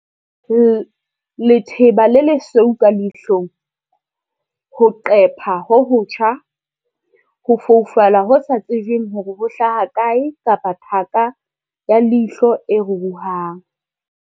I - Letheba le lesweu ka leihlong, ho qepha ho hotjha, ho foufala ho sa tsejweng hore ho hlaha kae kapa thaka ya leihlo e ruruhang.